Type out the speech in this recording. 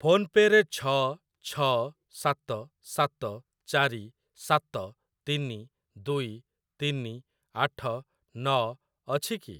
PhonePe ରେ ଛ ଛ ସାତ ସାତ ଚାରି ସାତ ତିନି ଦୁଇ ତିନି ଆଠ ନ ଅଛି କି?